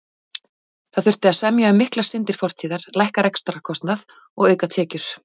Það þurfti að semja um miklar syndir fortíðar, lækka rekstrarkostnað og auka tekjur.